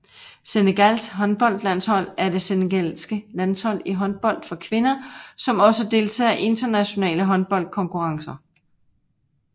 Senegals håndboldlandshold er det senegalske landshold i håndbold for kvinder som også deltager i internationale håndboldkonkurrencer